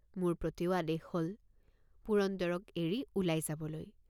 মোৰ প্ৰতিও আদেশ হল পুৰন্দৰক এৰি ওলাই যাবলৈ।